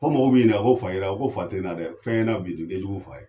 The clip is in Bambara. Fo mɔgɔw b'i ɲininka ko fa y'i ra n ko fa tɛ n na dɛ fɛn ye n na o ka jugu ni fa ye.